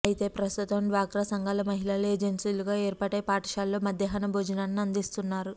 అయితే ప్రస్తుతం డ్వాక్రా సంఘాల మహిళలు ఏజన్సీలుగా ఏర్పాటై పాఠశాలల్లో మధ్యాహ్న భోజనాన్ని అందిస్తున్నారు